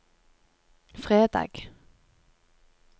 fredag